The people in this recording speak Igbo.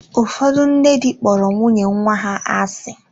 Ụfọdụ nne di kpọrọ nwunye nwa ha asị.